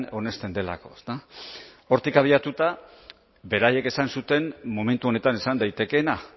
onesten delako ezta hortik abiatuta beraiek esan zuten momentu honetan esan daitekeena